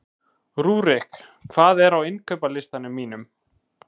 Rúrik, hvað er á innkaupalistanum mínum?